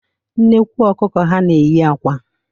Nnekwu ọkụkụ ha na-eyi akwa.